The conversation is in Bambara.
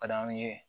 Ka d'anw ye